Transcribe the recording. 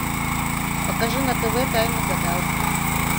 покажи на тв тайны гадалки